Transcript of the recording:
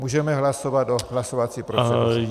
Můžeme hlasovat o hlasovací proceduře.